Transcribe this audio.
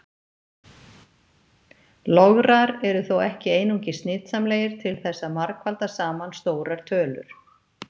Lograr eru þó ekki einungis nytsamlegir til þess að margfalda saman stórar tölur.